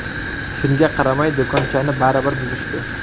Shunga qaramay, do‘konchani baribir buzishdi.